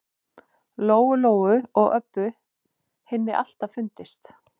Lóu-Lóu og Öbbu hinni alltaf fundist.